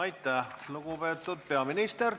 Aitäh, lugupeetud peaminister!